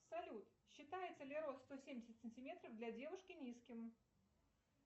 салют считается ли рост сто семьдесят сантиметров для девушки низким